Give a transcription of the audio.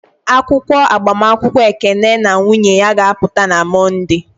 Akwụkwọ agbamakwụkwọ Ekene na nwunye ya ga-apụta na Mọnde.